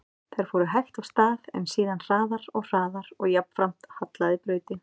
Þær fóru hægt af stað, en síðan hraðar og hraðar og jafnframt hallaði brautin.